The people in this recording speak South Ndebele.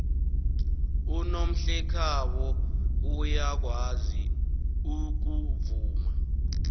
unomhlekhabo uyakwazi ukuvuma